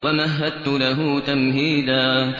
وَمَهَّدتُّ لَهُ تَمْهِيدًا